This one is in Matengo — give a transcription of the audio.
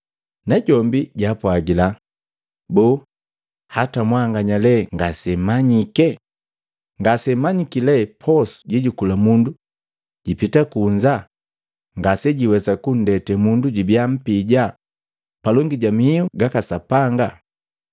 Najombi jaapwagila, “Boo, hata mwanganya lee ngasemmanyike? Ngasemmanyiki lee posu jejukula mundu jipita kunza ngase jiwesa kuntenda mundu jubia mpija palongi ja mihu gaka Sapanga,